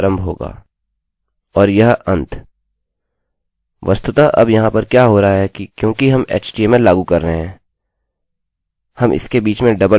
वस्तुतः अब यहाँ पर क्या हो रहा है कि क्योंकि हम htmlएचटीएमएललागू कर रहे हैं हम इसके बीच में डबलdouble उद्धरणचिन्होंquotesका इस्तेमाल कर रहे हैं और इसका मतलब यह है कि एकोecho कमांड को यहाँ से शुरू और यहाँ पर अंत समझ लिया जाएगा